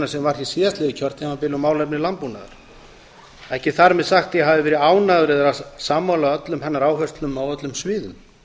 sem var hér síðastliðið kjörtímabil um málefni landbúnaðar ekki þar með sagt að ég hafi verið ánægður eða sammála öllum hennar áherslum á öllum sviðum